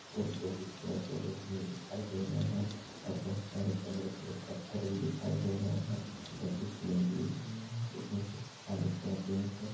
और ऊपर कुछ पेड़ पौधे भी दिखाई दे रहे हैं और बहोत सारे बड़े बड़े पत्थर भी दिखाई दे रहे हैं और कुछ लेडिज भी हैं |